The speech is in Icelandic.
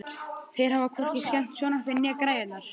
Þeir hafa hvorki skemmt sjónvarpið né græjurnar.